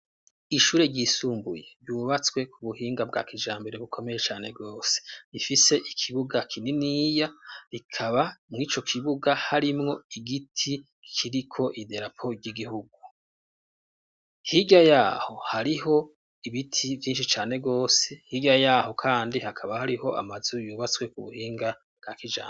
Ishure ryisumbuye ryubatswe ku buhinga bwa kijambere bukomeye cane rwose Rifise ikibuga kininiya rikaba mw' ico kibuga harimwo igiti kiriko idarapo ry'igihugu. Hirya yaho hariho ibiti vyinshi cane rwose; hirya yaho kandi hakaba hariho amazu yubatswe ku buhinga bwa kijambere.